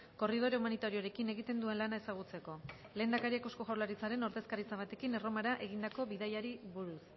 korridore humanitarioekin egiten duen lana ezagutzeko lehendakariak eusko jaurlaritzaren ordezkaritza batekin erromara egindako bidaiari buruz